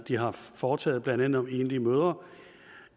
de har foretaget blandt andet om enlige mødre